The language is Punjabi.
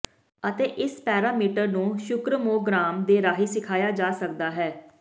ਅਤੇ ਇਸ ਪੈਰਾਮੀਟਰ ਨੂੰ ਸ਼ੁਕ੍ਰਮੋਗਰਾਮ ਦੇ ਰਾਹੀਂ ਸਿਖਾਇਆ ਜਾ ਸਕਦਾ ਹੈ